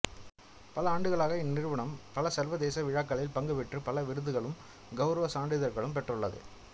பல ஆண்டுகளாக இந்நிறுவனம் பல சர்வதேச விழாக்களில் பங்குபெற்று பல விருதுகளும் கௌரவ சான்றிதழ்களும் பெற்றுள்ளது